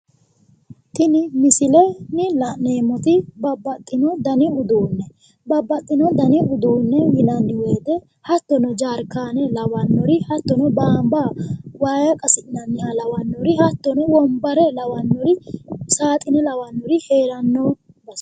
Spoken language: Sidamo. Tin misilen la'neemoti babaxino dan uduune, babaxino dan uduune yinani woyite hattono jarkana lawanori hattono banba waa qasinaniha lawanori hattono wonbare lawanori saaxine lawanori heerano base